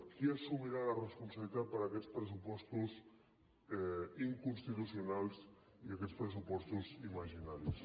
qui assumirà la responsabilitat per aquests pressupostos inconstitucionals i aquests pressupostos imaginaris